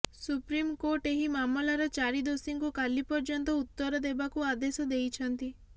supreme court ଏହି ମାମଲାର ଚାରି ଦୋଷୀଙ୍କୁ କାଲି ପର୍ଯ୍ୟନ୍ତ ଉତ୍ତର ଦେବାକୁ ଆଦେଶ ଦେଇଛନ୍ତି